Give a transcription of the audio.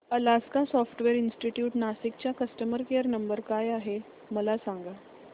Alaska Software Institute Nashik चा customer care number काय आहे मला सांग